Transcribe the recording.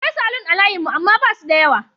Akwai Salon a layin mu amana basu da yawa